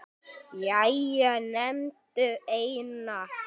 Jæja, nefndu eina